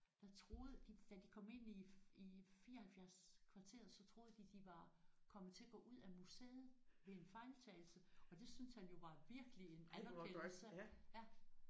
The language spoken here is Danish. Der troede de da de kom ind i i 74 kvarteret så troede de de var kommet til at gå ud af museet ved en fejltagelse og det synes han jo var virkelig en anerkendelse ja